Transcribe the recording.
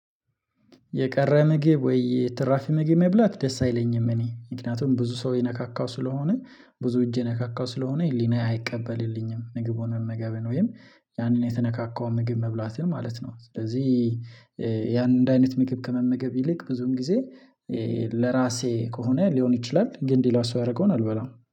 የቀረ ምግብ ወይ? ትራፊ ምግብ መብላት ደስ አይለኝም እኔ ምክንያቱም ብዙ ሰው የነካካው ስለሆነ ብዙ እጄ የነካካው ስለሆነ ህሊናዬ አይቀበልልኝም ምግቡን መመገብን ወይም ያንን የተነካካው ምግብ መብላትን ማለት ነው። ስለዚህ ያንን አይነት ምግብ ከመመገብ ይልቅ ብዙም ጊዜ ለራሴ ከሆነ ሊሆን ይችላል። ግን ሌላ ሰው ያደረገውን አልበላም